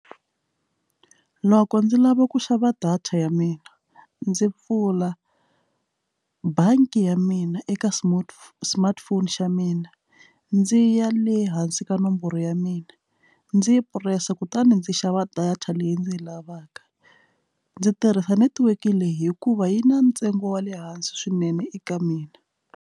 Loko ndzi lava ku xava data ya mina ndzi pfula bangi ya mina eka smartphone smartphone xa mina ndzi ya le hansi ka nomboro ya mina ndzi yi purasi kutani ndzi xava data leyi ndzi yi lavaka ndzi tirhisa netiweke leyi hikuva yi na ntsengo wa le hansi swinene eka mina.